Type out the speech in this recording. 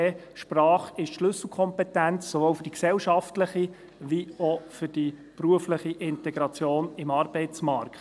Sprache ist Schlüsselkompetenz sowohl für die gesellschaftliche wie auch für die berufliche Integration im Arbeitsmarkt.